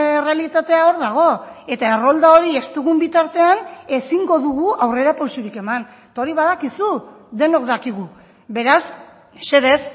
errealitatea hor dago eta errolda hori ez dugun bitartean ezingo dugu aurrerapausorik eman eta hori badakizu denok dakigu beraz mesedez